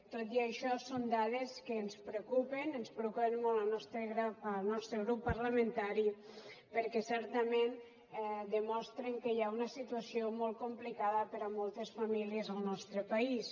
tot i això són dades que ens preocupen ens preocupen molt al nostre grup parlamentari perquè certament demostren que hi ha una situació molt complicada per a moltes famílies al nostre país